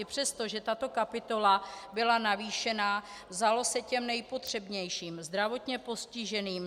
I přesto, že tato kapitola byla navýšena, vzalo se těm nejpotřebnějším - zdravotně postiženým.